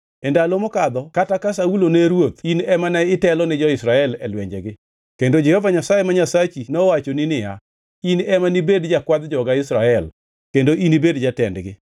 E ndalo mokadho kata ka Saulo ne ruoth in ema ne itelo ni jo-Israel e lwenjegi. Kendo Jehova Nyasaye ma Nyasachi nowachoni niya, ‘In ema nibed jakwadh joga Israel, kendo inibed jatendgi.’ ”